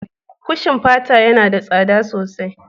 Kushin fata yana da tsada sosai